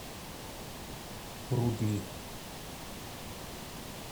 рудни